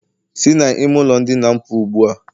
Si na ime ulo ndina'm puo ugbua!.